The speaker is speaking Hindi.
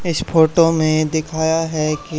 इस फोटो में दिखाया है कि--